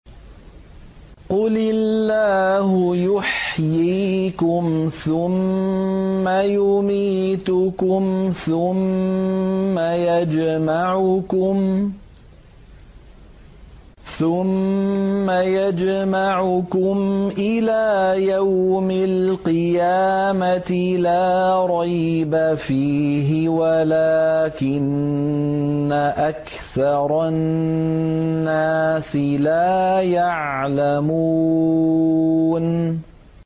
قُلِ اللَّهُ يُحْيِيكُمْ ثُمَّ يُمِيتُكُمْ ثُمَّ يَجْمَعُكُمْ إِلَىٰ يَوْمِ الْقِيَامَةِ لَا رَيْبَ فِيهِ وَلَٰكِنَّ أَكْثَرَ النَّاسِ لَا يَعْلَمُونَ